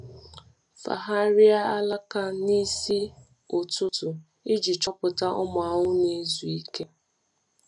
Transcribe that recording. Fagharịa alaka n’isi ụtụtụ ụtụtụ iji chọpụta ụmụ ahụhụ na-ezu ike.